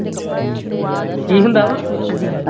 ਕੀ ਹੁੰਦਾ ਵਾ